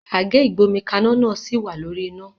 Àgé ìgbómikaná náà sì wà lórí iná